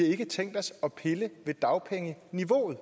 ikke tænkt os at pille ved dagpengeniveauet